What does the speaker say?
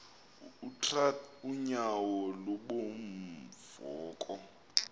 utrath unyauo lubunvoko